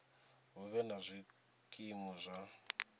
hu vhe na zwikimu zwa